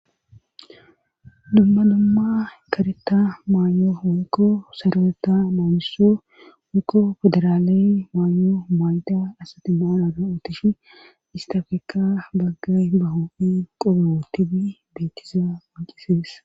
Dumma dumma kareta maanyo wikko sarweta maamiso woikko fedaraale maanno maayta asati maonada utishi istafeka baggay ba hoofi qoboo tibi beittiza wocisees.